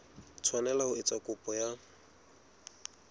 tshwanela ho etsa kopo ya